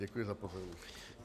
Děkuji za pozornost.